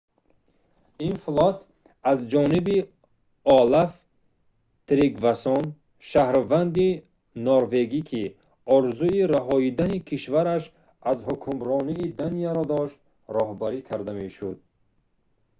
ин флот аз ҷониби олаф тригвассон шаҳрванди норвегӣ ки орзуи раҳоидани кишвараш аз ҳукмронии данияро дошт роҳбарӣ карда мешуд